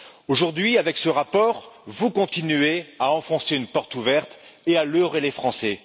Aujourd'hui, avec ce rapport, vous continuez à enfoncer une porte ouverte et à leurrer les Français.